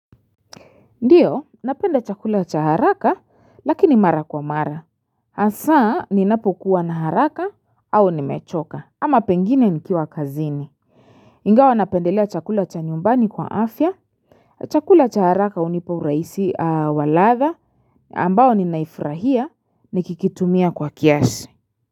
Ndio, napenda chakula cha haraka lakini mara kwa mara. Hasaa ninapokuwa na haraka au nimechoka ama pengine nikiwa kazini. Ingawa napendelea chakula cha nyumbani kwa afya. Chakula cha haraka unipa uraisi wa ladha ambao ninaifurahia nikikitumia kwa kiasi.